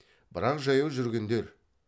бірақ жаяу жүргендер